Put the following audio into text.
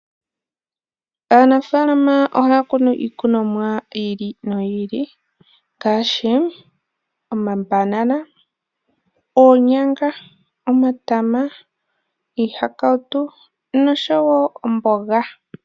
Aanafalama ohaya kunu iikunomwa yili no yili ngaashi omambanana, oonyanga, omatama, iihakautu no showo omboga.